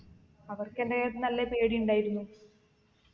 അവർക്കെന്റെയിത്ത് നല്ല പേടി ഇണ്ടായിരുന്നു